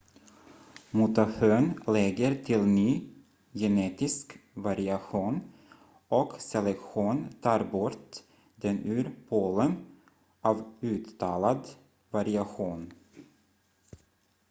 mutation lägger till ny genetisk variation och selektion tar bort den ur poolen av uttalad variation